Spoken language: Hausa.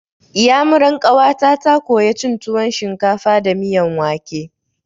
Iyamuran ƙawata ta koya cin tuwon shinkafa da miyan wake.